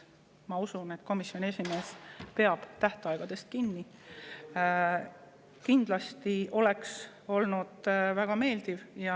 Ma usun, et komisjoni esimees peab tähtaegadest kinni.